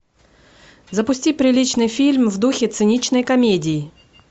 запусти приличный фильм в духе циничной комедии